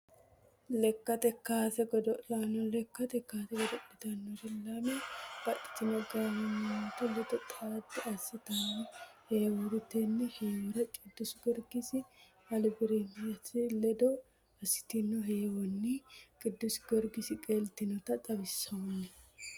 Lekkate kaasr godo'laano, lekkate kaase godo'litanori lame babaxitino gaamo mimitu ledo xaade asitano heewoti, tene heewora qidusigiyorgise aribamincete ledo assitino heewonni kidusigiyorgise qeelitinota xawinsoni